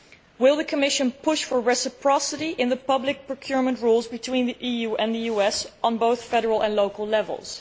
Will the Commission push for reciprocity in the public procurement rules between the EU and the US at both the federal and local levels?